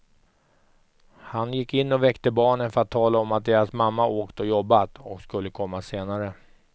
Han gick in och väckte barnen för att tala om att deras mamma åkt och jobbat, och skulle komma senare.